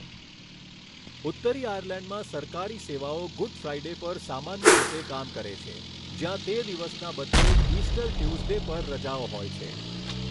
ઉત્તરી આયર્લેન્ડમાં સરકારી સેવાઓ ગુડ ફ્રાઇડે પર સામાન્ય રીતે કામ કરે છે, જ્યાં તે દિવસના બદલે ઇસ્ટર ટ્યૂઝડે પર રજાઓ હોય છે.